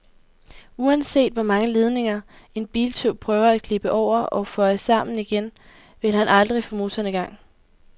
Uanset hvor mange ledninger en biltyv prøver at klippe over og føje sammen igen, vil han aldrig få motoren i gang.